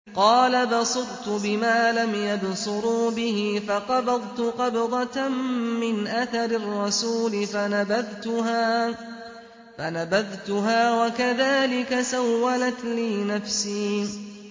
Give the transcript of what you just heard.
قَالَ بَصُرْتُ بِمَا لَمْ يَبْصُرُوا بِهِ فَقَبَضْتُ قَبْضَةً مِّنْ أَثَرِ الرَّسُولِ فَنَبَذْتُهَا وَكَذَٰلِكَ سَوَّلَتْ لِي نَفْسِي